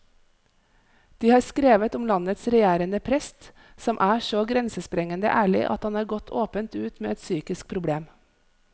De har skrevet om landets regjerende prest, som er så grensesprengende ærlig at han har gått åpent ut med et psykisk problem.